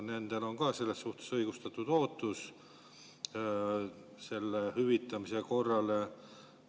Nendel on ka õigustatud ootus hüvitamise korrale.